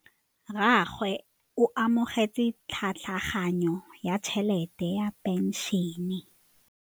Rragwe o amogetse tlhatlhaganyô ya tšhelête ya phenšene.